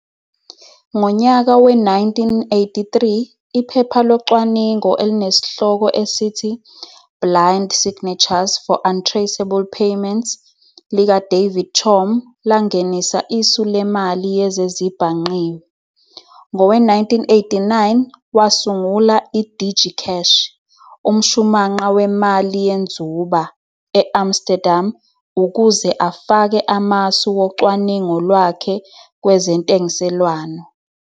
Ngonyaka we-1983, iphepha locwaningo elinesihloko esithi "Blind Signatures for Untraceable Payments" lika-David Chaum langenisa isu lemali yezezibhangqiwe. Ngowe-1989, wasungula i-DigiCash, umshumanqa wemali yenzuba, e-Amsterdam ukuze afake amasu wocwaningo lwakhe kwezentengiselwano.